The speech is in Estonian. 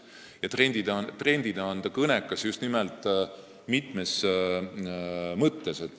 Ja trendina on see aeg kõnekas mitmes mõttes.